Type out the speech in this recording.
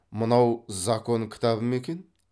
мынау закон кітабы ма екен